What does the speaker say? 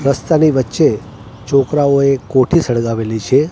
રસ્તાની વચ્ચે છોકરાઓએ કોઠી સળગાવેલી છે.